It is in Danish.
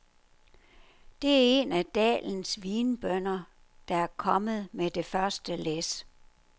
Det er en af dalens vinbønder, der er kommet med det første læs.